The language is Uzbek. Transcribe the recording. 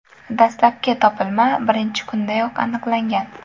Dastlabki topilma birinchi kundayoq aniqlangan.